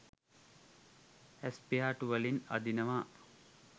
ඇස් පිහාටු වලින් අදිනවා